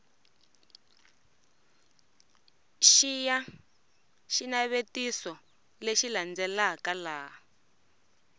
xiya xinavetiso lexi landzelaka laha